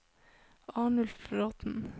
Arnulf Bråthen